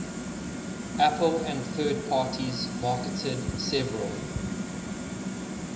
apple and third parties marketed several